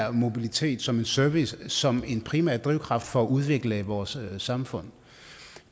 og mobilitet som en service og som en primær drivkraft for udvikling af vores samfund